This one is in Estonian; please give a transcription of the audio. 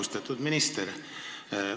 Austatud minister!